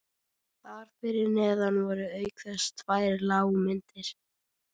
Þar fyrir neðan voru auk þess tvær lágmyndir